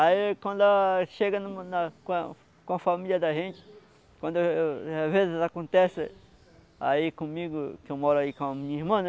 Aí quando a chega em uma na com a com a família da gente, quando eu eu às vezes acontece aí comigo, que eu moro aí com a minha irmã, né?